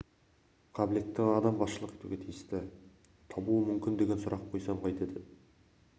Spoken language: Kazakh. қабілетті маман адам басшылық етуге тиісті табуы мүмкін деген сұрақ қойсам қайтеді